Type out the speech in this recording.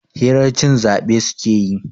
hirar cin zabe suke yi